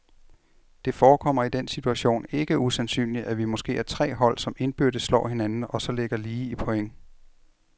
Det forekommer i den situation ikke usandsynligt, at vi måske er tre hold, som indbyrdes slår hinanden og så ligger lige i point.